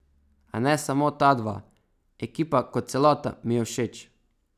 A ne samo ta dva, ekipa kot celota mi je všeč.